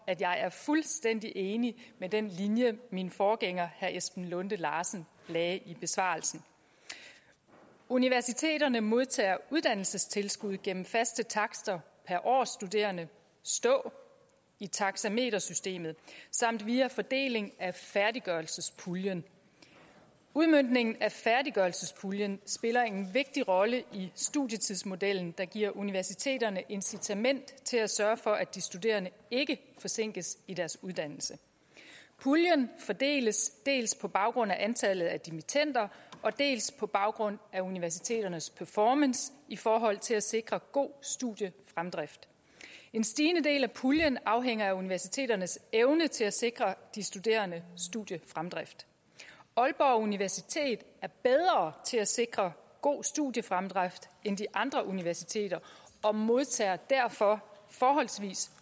at jeg er fuldstændig enig i den linje min forgænger herre esben lunde larsen lagde i besvarelsen universiteterne modtager uddannelsestilskud gennem faste takster per årsstuderende stå i taxametersystemet samt via fordeling af færdiggørelsespuljen udmøntningen af færdiggørelsespuljen spiller en vigtig rolle i studietidsmodellen der giver universiteterne incitament til at sørge for at de studerende ikke forsinkes i deres uddannelse puljen fordeles dels på baggrund af antallet af dimittender dels på baggrund af universiteternes performance i forhold til at sikre god studiefremdrift en stigende del af puljen afhænger af universiteternes evne til at sikre de studerendes studiefremdrift aalborg universitet er bedre til at sikre god studiefremdrift end de andre universiteter og modtager derfor forholdsvis